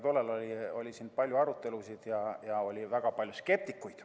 Tol ajal oli siin palju arutelusid ja oli väga palju skeptikuid.